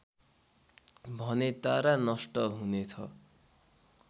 भने तारा नष्ट हुनेछ